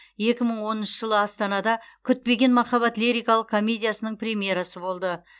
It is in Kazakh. екі мың оныншы жылы астанада күтпеген махаббат лирикалық комедиясының премьерасы болды